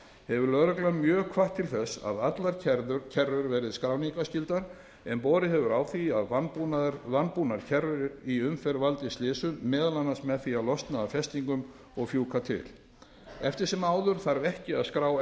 hefur lögreglan mjög hvatt til þess að allar kerrur verði skráningarskyldar en borið hefur á því að vanbúnar kerrur í umferð valdi slysum meðal annars með því að losna af festingum og fjúka til eftir sem áður þarf ekki að skrá